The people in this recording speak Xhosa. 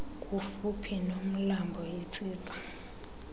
kufuphi nomlambo itsitsa